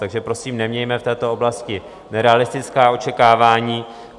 Takže prosím, nemějme v této oblasti nerealistická očekávání.